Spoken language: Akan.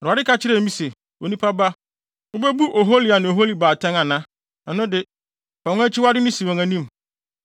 Awurade ka kyerɛɛ me se, “Onipa ba, wubebu Ohola ne Oholiba atɛn ana? Ɛno de, fa wɔn akyiwadeyɛ no si wɔn anim,